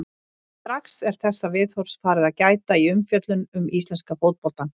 Og strax er þessa viðhorfs farið að gæta í umfjöllun um íslenska fótboltann.